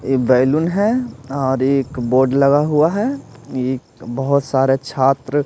balloon है और एक बोर्ड लगा हुआ है एक बहुत सारे छात्र--